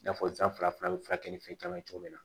I n'a fɔ san fila a bɛ furakɛ ni fɛn caman cogo min na